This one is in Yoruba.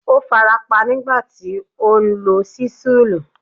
Ó farapa nígbà tí ó ń lo ṣísẹ́ẹ̀lì.